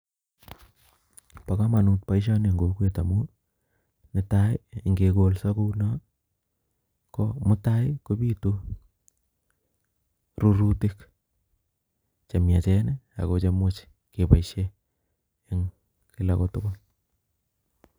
Bokomonut boishoni en kokwet amun netai ingekolso kou non ko mutai kobitu rurutik chemiachen akoo chemuchi keboishen en kila kotukul.